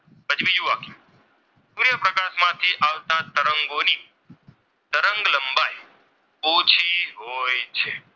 તરંગોની તરંગ લંબાઈ ઓછી હોય છે.